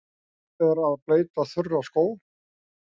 Þörf er að bleyta þurra skó.